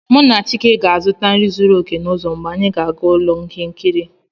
Mụ na chike ga-azụta nri zuru oke n'ụzọ mgbe anyị ga-aga ụlọ ihe nkiri